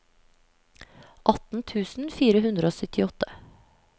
atten tusen fire hundre og syttiåtte